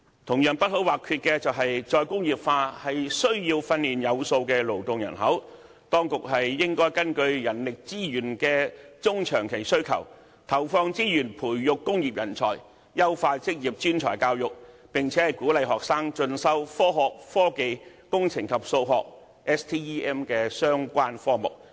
同樣不可或缺的是，"再工業化"需要訓練有素的勞動人口，當局應根據人力資源的中長期需求，投放資源，培育工業人才，優化職業專才教育，並且鼓勵學生進修科學、科技、工程及數學的相關科目。